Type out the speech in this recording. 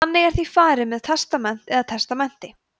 þannig er því farið með testament eða testamenti